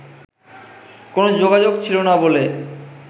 কোন যোগাযোগ ছিলনা বলে